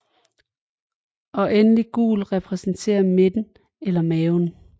Og endelig gul repræsenterer midten eller maven